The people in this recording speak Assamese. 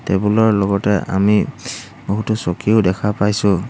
টেবুল ৰ লগতে আমি বহুতো চকীও দেখা পাইছোঁ।